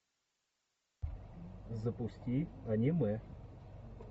запусти аниме